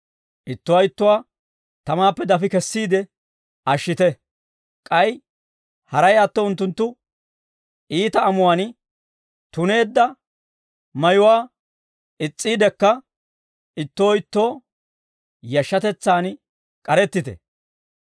Ittuwaa ittuwaa tamaappe dafi kessiide ashshite. K'ay haray atto unttunttu iita amuwaan tuneedda mayuwaa is's'iiddekka, ittoo ittoo yashshatetsaan k'arettite.